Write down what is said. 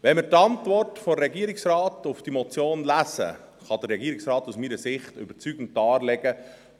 Wenn wir die Antwort des Regierungsrates auf diese Motion lesen, legt der Regierungsrat aus meiner Sicht überzeugend dar,